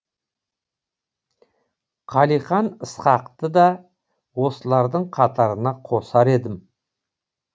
қалихан ысқақты да осылардың қатарына қосар едім